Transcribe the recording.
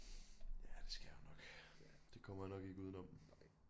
Ja det skal jeg nok det kommer jeg nok ikke uden om